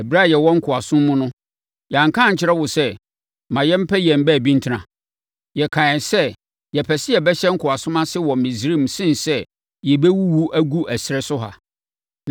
Ɛberɛ a yɛwɔ nkoasom mu no, yɛanka ankyerɛ wo sɛ ma yɛmpɛ yɛn baabi ntena? Yɛkaeɛ sɛ yɛpɛ sɛ yɛbɛhyɛ nkoasom ase wɔ Misraim sene sɛ yɛbɛwuwu agu ɛserɛ so ha.”